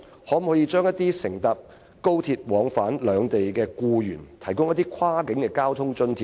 可否向乘搭廣深港高速鐵路往返兩地的僱員提供跨境交通津貼呢？